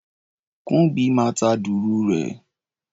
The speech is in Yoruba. Kúḿbi máa ta dùrù rẹ̀.